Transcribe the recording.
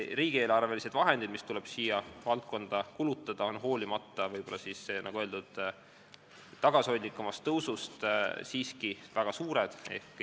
Riigieelarvelised vahendid, mis tuleb selles valdkonnas kulutada, on hoolimata, nagu öeldud, tagasihoidlikumast tõusust, siiski väga suured.